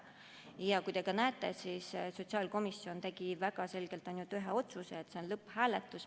Ja te näete, et sotsiaalkomisjon tegi väga selgelt ühe otsuse: see on lõpphääletus.